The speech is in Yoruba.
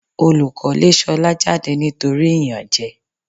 Olùkọ́ lé Ṣolá jáde ní nítorí ìyànjẹ.